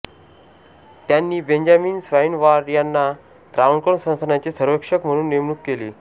त्यांनी Benjamin Swain Ward यांना त्रावणकोर संस्थानाचे सर्वेक्षक म्हणुन नेमणूक केली